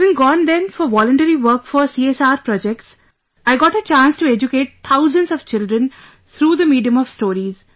Having gone then for voluntary work for CSR projects, I got a chance to educate thousands of children through the medium of stories